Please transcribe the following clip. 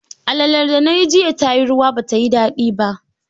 Alalar da nayi jiya tayi ruwa ba tayi daɗi ba